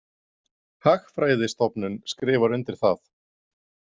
Hagfræðistofnun skrifar undir það.